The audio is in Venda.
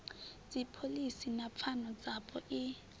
dzipholisi na pfano dzapo i